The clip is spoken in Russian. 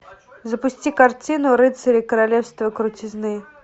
запусти картину рыцари королевства крутизны